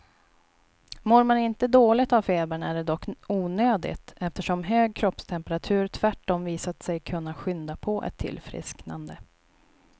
Mår man inte dåligt av febern är det dock onödigt, eftersom hög kroppstemperatur tvärtom visat sig kunna skynda på ett tillfrisknande.